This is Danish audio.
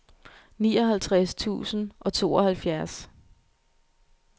nioghalvtreds tusind og tooghalvfjerds